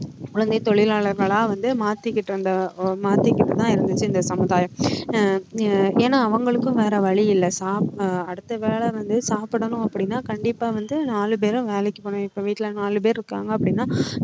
குழந்தைத் தொழிலாளர்களா வந்து மாத்திக்கிட்டு இருந்த ஆஹ் மாத்திக்கிட்டுதான் இருந்துச்சு இந்த சமுதாயம் ஆஹ் அஹ் ஏன்னா அவங்களுக்கும் வேற வழி இல்லை சாப்~ ஆஹ் அடுத்த வேளை வந்து சாப்பிடணும் அப்படின்னா கண்டிப்பா வந்து நாலு பேரும் வேலைக்கு போகணும் இப்ப வீட்ல நாலு பேரு இருக்காங்க அப்படின்னா